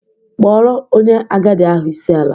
Kpọrọ onye agadi ahụ isi ala!